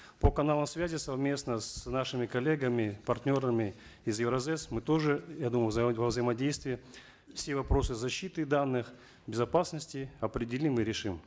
по каналам связи совместно с нашими коллегами партнерами из евразэс мы тоже я думаю во взаимодействии все вопросы защиты данных безопасности определим и решим